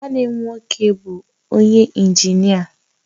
Nwanne m nwoke bu onye injinia